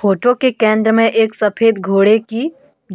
photo के केंद्र में एक सफेद घोड़े की